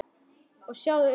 Og sjáðu augun!